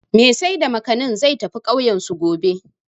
Mai sai da Gwazar/Makanin, zai tafi ƙauyensu, gobe.